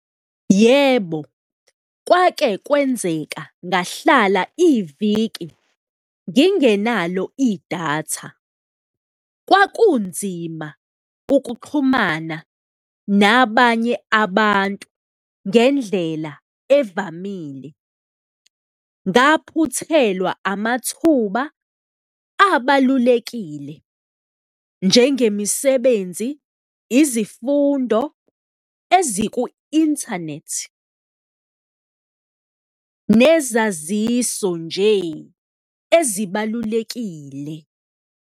Yebo, kwake kwenzeka ngahlala iviki ngingenalo idatha, kwakunzima ukuxhumana nabanye abantu ngendlela evamile. Ngaphuthelwa amathuba abalulekile njengemisebenzi, izifundo eziku-internet nezaziso nje ezibalulekile.